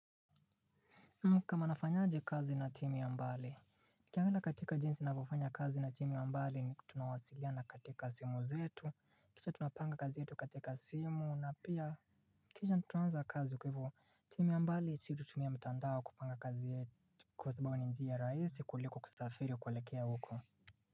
Mkama nafanyaje kazi na timu ya mbali uKiangela katika jinsi navyofanya kazi na timu ya mbali ni tunawasiliana katika simu zetu, kisha tunapanga kazi yetu katika simu na pia kisha tunaanza kazi kwa hivo, timu ya mbali si tutumia mtandao kupanga kazi yetu kwa sababu ni njia raisi kuliko kusafiri kuelekea huko.